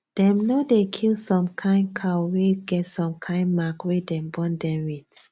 dem no dey kill some kind cow wey get some kind mark wey dem born dem with